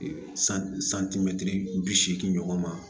Santimɛtiri bi seegin ɲɔgɔn ma